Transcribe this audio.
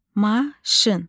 Maşın.